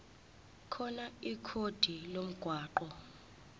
khona ikhodi lomgwaqo